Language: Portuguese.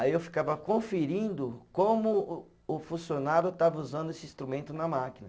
Aí eu ficava conferindo como o o funcionário estava usando esse instrumento na máquina.